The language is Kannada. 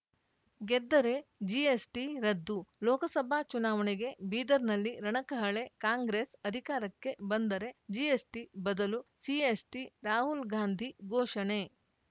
ಗೆದ್ದರೆ ಜಿಎಸ್‌ಟಿ ರದ್ದು ಲೋಕಸಭಾ ಚುನಾವಣೆಗೆ ಬೀದರ್‌ನಲ್ಲಿ ರಣಕಹಳೆ ಕಾಂಗ್ರೆಸ್‌ ಅಧಿಕಾರಕ್ಕೆ ಬಂದರೆ ಜಿಎಸ್‌ಟಿ ಬದಲು ಸಿಎಸ್‌ಟಿ ರಾಹುಲ್‌ ಗಾಂಧಿ ಘೋಷಣೆ